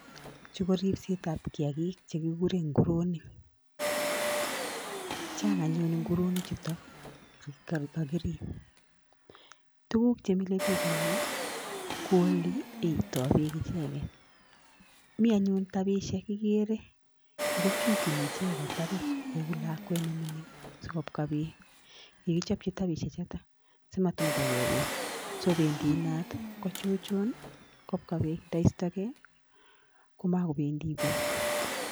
Chu ko ribsetab kiagik chekigure nguronik. Chang anyun nguronik chuto kagirib. Tuguk che mile biik eng nyu ko oli eitoi beek icheget. Mi anyun tabishek igere, ago chuchuni icheget tabit kou lakwet ne mining sokobwa beek. Kigichopchi tabisiek chotok simatumndagei beek. So bendi inat, kochuchun kobwa beek, ndaistogei komakobendi beek.